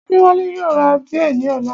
Adéwálé yóò ra bíẹ̀ ní ọ̀la